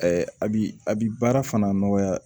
a bi a bi baara fana nɔgɔya